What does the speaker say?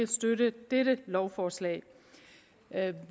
støtte dette lovforslag